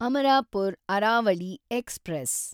Amarapur Aravali express